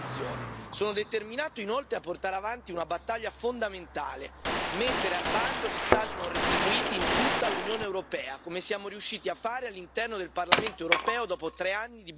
Sono determinato inoltre a portare avanti una battaglia fondamentale mettere al bando gli stage non retribuiti in tutta l'Unione europea, come siamo riusciti a fare all'interno del Parlamento europeo, dopo tre anni di battaglie.